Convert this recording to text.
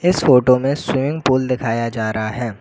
इस फोटो में swimming pool दिखाया जा रहा है।